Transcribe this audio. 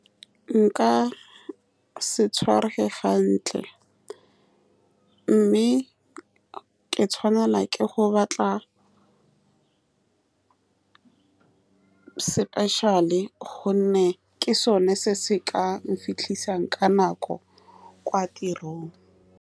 Nka se tshwarege hantle, mme ke tshwanelwa ke go batla special-e, ka gonne ke sone se se ka nfitlhisang ka nako kwa tirong.